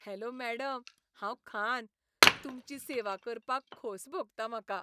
Hello madam, हांव खान, तुमची सेवा करपाक खोस भोगता म्हाका.